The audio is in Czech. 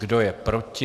Kdo je proti?